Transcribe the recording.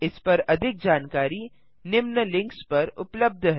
इस पर अधिक जानकारी निम्न लिंक्स पर उपलब्ध है